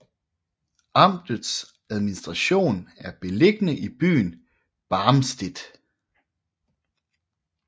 Amtets administration er beliggende i byen Barmstedt